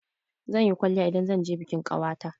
Zan yi kwalliya idan zan je bikin ƙawata.